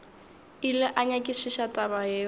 ile a nyakišiša taba yeo